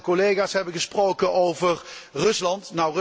Veel collega's hebben gesproken over Rusland.